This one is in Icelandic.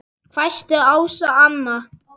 hvæsti Ása amma.